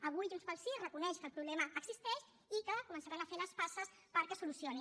avui junts pel sí reconeix que el problema existeix i que començaran a fer les passes perquè es solucioni